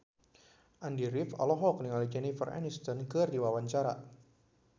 Andy rif olohok ningali Jennifer Aniston keur diwawancara